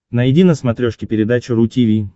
найди на смотрешке передачу ру ти ви